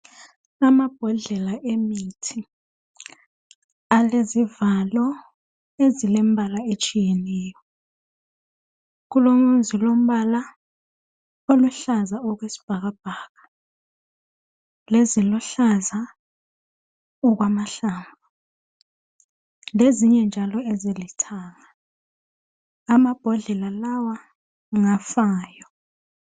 Amabhodlela emithi alezivalo ezilembalaetshiyeneyo. Kulozilombala oluhlaza okwesibhakabhaka leziluhlaza okwamahlamvu lezinye njalo ezilithanga Amabhodlela lawa ngafayo.